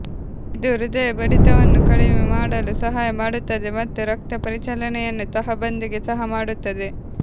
ಇದು ಹೃದಯ ಬಡಿತವನ್ನು ಕಡಿಮೆ ಮಾಡಲು ಸಹಾಯ ಮಾಡುತ್ತದೆ ಮತ್ತು ರಕ್ತ ಪರಿಚಲನೆಯನ್ನು ತಹಬಂದಿಗೆ ಸಹ ಮಾಡುತ್ತದೆ